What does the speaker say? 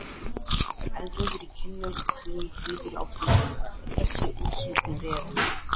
Eldrauður í kinnum og hrímhvítur á trýninu, þessi útsmogni refur!